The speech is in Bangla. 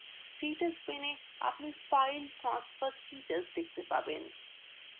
status paneএ আপনি file transfer status দেখতে পাবেন